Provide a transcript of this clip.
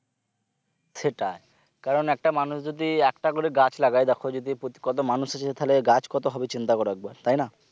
সেটাই কারণ একটা মানুষ যদি একটা করে গাছ লাগায় দেখো যদি প্রতি কত মানুষ আছে তাহলে কত গাছ হবে চিন্তা করো একবার তাইনা?